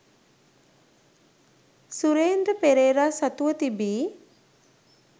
සුරේන්ද්‍ර පෙරේරා සතුව තිබී